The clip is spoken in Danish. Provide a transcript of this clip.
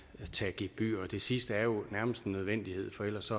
tage et gebyr det sidste er jo nærmest en nødvendighed for ellers